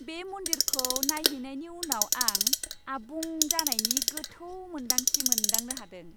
बे मन्दिरखौ नायहैनायनि उनाव आं आबुं जानायनि गोथौ मोन्दांथि मोनदांनो हादों।